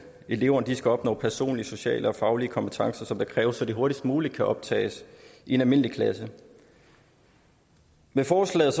eleverne skal opnå personlige sociale og faglige kompetencer som der kræves så de hurtigst muligt kan optages i en almindelig klasse med forslaget